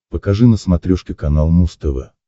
покажи на смотрешке канал муз тв